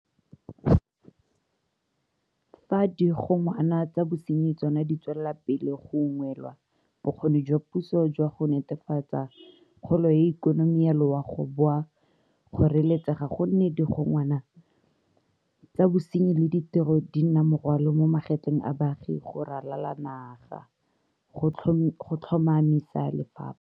Fa digongwana tsa bosenyi tsona di tswela pele go ungwelwa, bokgoni jwa puso jwa go netefatsa kgolo ya ikonomi ya loago bo a kgoreletsega gonne digongwa na tsa bosenyi le ditiro di nna morwalo mo magetleng a baagi go ralala naga go tlhoma misa lefapha.